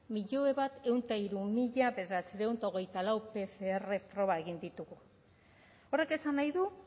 milioi bat ehun eta hiru mila bederatziehun eta hogeita lau pcr proba egin ditugu horrek esan nahi du